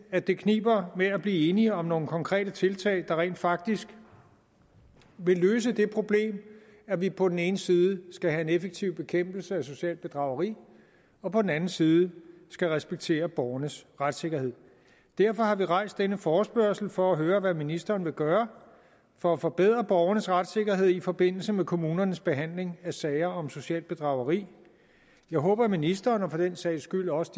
at det kniber med at blive enige om nogle konkrete tiltag der rent faktisk vil løse det problem at vi på den ene side skal have en effektiv bekæmpelse af socialt bedrageri og på den anden side skal respektere borgernes retssikkerhed derfor har vi rejst denne forespørgsel for at høre hvad ministeren vil gøre for at forbedre borgernes retssikkerhed i forbindelse med kommunernes behandling af sager om socialt bedrageri jeg håber at ministeren og for den sags skyld også